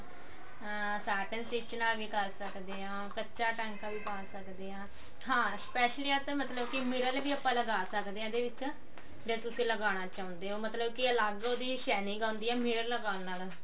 ਅਮ tartan stich ਨਾਲ ਵੀ ਕਰ ਸਕਦੇ ਹੋ ਕੱਚਾ ਟਾਂਕਾ ਵੀ ਪਾ ਸਕਦੇ ਹਾਂ ਹਾਂ specially ਆ ਤਾਂ ਮਤਲਬ ਕੀ ਮਿਰਲ ਵੀ ਆਣ ਲਗਾ ਸਕਦੇ ਹਾਂ ਇਹਦੇ ਵਿੱਚ ਜੇ ਤੁਸੀਂ ਲਗਾਉਣਾ ਚਾਹੁੰਦੇ ਹੋ ਮਤਲਬ ਕੀ ਅਲੱਗ ਉਹਦੀ shining ਆਉਂਦੀ ਹੈ ਮਿਰਲ ਲਗਾਉਣ ਨਾਲ